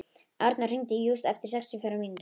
Arnór, hringdu í Júst eftir sextíu og fjórar mínútur.